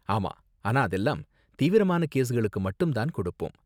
ஆமா, ஆனா அதெல்லாம் தீவிரமான கேஸ்களுக்கு மட்டும் தான் கொடுப்போம்.